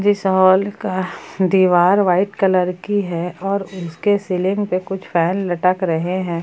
इस हॉल का दीवार व्हाइट कलर की है और उसके सीलिंग पे कुछ फैन लटक रहे हैं।